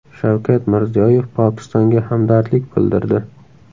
Shavkat Mirziyoyev Pokistonga hamdardlik bildirdi.